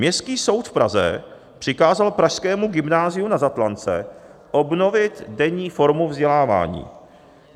Městský soud v Praze přikázal pražskému Gymnáziu Na Zatlance obnovit denní formu vzdělávání.